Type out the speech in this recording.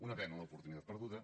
una pena l’oportunitat perduda